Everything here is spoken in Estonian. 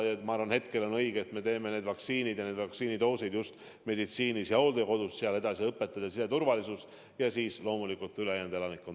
Nii et ma arvan, et praegu on õige teha vaktsineerimised ära just meditsiinis ja hooldekodudes, sealt edasi õpetajad, siseturvalisuse töötajad ja siis loomulikult ülejäänud elanikkond.